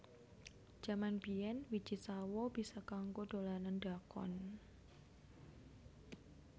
Jaman biyen wiji sawo bisa kanggo dolanan dakon